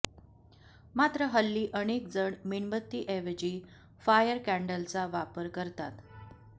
मात्र हल्ली अनेक जण मेणबत्तीऐवजी फायर कॅन्डलचा वापर करतात